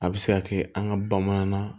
A bɛ se ka kɛ an ka bamanan